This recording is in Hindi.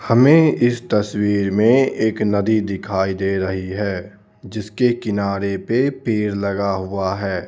हमें इस तस्वीर में एक नदी दिखाई दे रही है जिसके किनारे पे पेड़ लगा हुआ है.